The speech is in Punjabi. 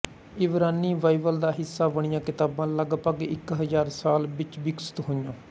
ਇਬਰਾਨੀ ਬਾਈਬਲ ਦਾ ਹਿੱਸਾ ਬਣੀਆਂ ਕਿਤਾਬਾਂ ਲਗਭਗ ਇੱਕ ਹਜ਼ਾਰ ਸਾਲ ਵਿੱਚ ਵਿਕਸਤ ਹੋਈਆਂ